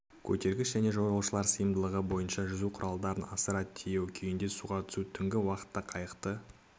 көтергіш және жолаушылар сыйымдылығы бойынша жүзу құралдарын асыра тиеу күйінде суға түсу түңгі уақытта қайықты